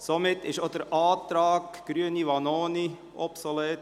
Auch der Antrag Vanoni, Grüne, ist obsolet.